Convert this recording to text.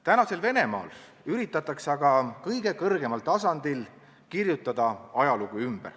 Tänasel Venemaal üritatakse aga kõige kõrgemal tasandil kirjutada ajalugu ümber.